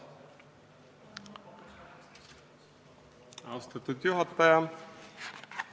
Austatud juhataja!